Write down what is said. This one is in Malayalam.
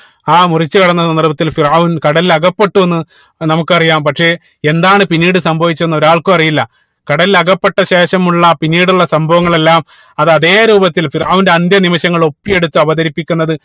ആ മുറിച്ചു കടന്ന സന്ദർഭത്തിൽ ഫിർഔൻ കടലിൽ അകപ്പെട്ടു എന്ന് നമുക്കറിയാം പക്ഷേ എന്താണ് പിന്നീട് സംഭവിച്ചത് എന്ന് ഒരാൾക്കും അറിയില്ല കടലിൽ അകപ്പെട്ട ശേഷം ഉള്ള പിന്നീടുള്ള സംഭവങ്ങളെല്ലാം അത് അതേ രൂപത്തിൽ ഫിർഔന്റെ അന്ത്യ നിമിഷങ്ങൾ ഒപ്പി എടുത്ത് അവതരിപ്പിക്കുന്നത്